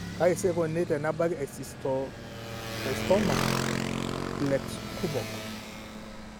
Kaji sa eikoni tenebaki e esteatocystoma plexkumok?